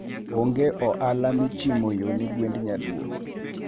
onge ohala michimo yo ne gwend nyaluo.